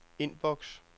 inbox